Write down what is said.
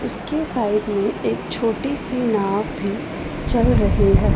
उसके साइड में एक छोटी सी नाव भी चल रही है।